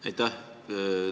Aitäh!